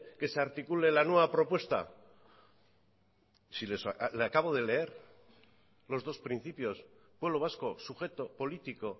que se articule la nueva propuesta si le acabo de leer los dos principios pueblo vasco sujeto político